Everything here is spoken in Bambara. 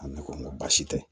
A ne ko n ko baasi tɛ